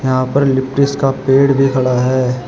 यहां पर लिप्टिस का पेड़ भी खड़ा है।